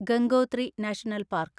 Gangotri national park